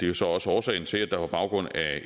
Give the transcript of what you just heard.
jo så også årsagen til at der på baggrund af